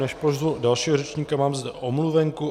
Než pozvu dalšího řečníka, mám zde omluvenku.